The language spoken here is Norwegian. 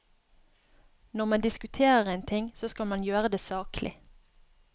Når man diskuterer en ting, så skal man gjøre det saklig.